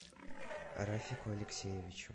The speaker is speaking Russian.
рафику алексеевичу